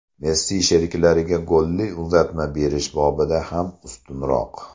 Messi sheriklariga golli uzatma berish bobida ham ustunroq.